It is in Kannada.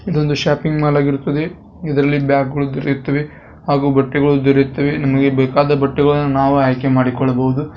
ಇದೊಂದು ಷಾಪಿಂಗ್ ಮಾಲ್ ಆಗಿರುತ್ತದೆ ಇದರಲ್ಲಿ ಬ್ಯಾಗ್ಗಳು ದೊರೆಯುತ್ತವೆ ಹಾಗೂ ಬಟ್ಟಗಳು ದೊರೆಯುತ್ತವೆ ನಮಗೆ ಬೇಕಾದ ಬಟ್ಟೆಗಳನ್ನ ನಾವು ಆಯಕೆ ಮಾಡಿಕೊಳ್ಳಬಹುದು.